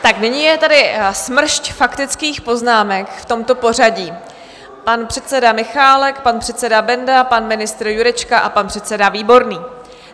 Tak nyní je tady smršť faktických poznámek v tomto pořadí: pan předseda Michálek, pan předseda Benda, pan ministr Jurečka a pan předseda Výborný.